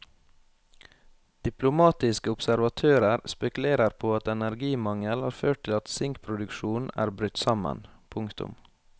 Diplomatiske observatører spekulerer på at energimangel har ført til at sinkproduksjonen er brutt sammen. punktum